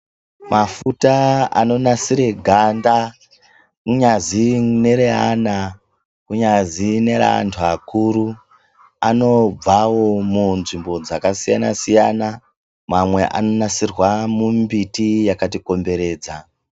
Mafuta anonasire ganda kunyazi neraana kunyazi neraantu akuru anobvawo munzvimbo dzakasiyana siyana mamwe anonasirwa mumbiti yakati komberedza.